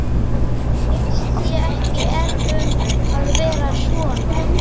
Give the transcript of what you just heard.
Mér finnst ég ekki einn um að vera svona